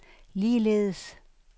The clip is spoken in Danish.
ligeledes